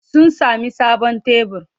Sun sami sabon tebur.